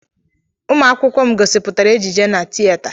Ụmụ akwụkwọ m gosipụtara ejije na tieta.